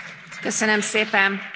A vitát lezárom.